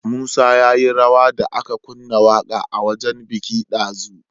Musa yayi rawa da aka kunna waƙa a wajan biki dazu